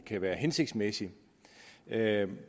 kan være hensigtsmæssigt med et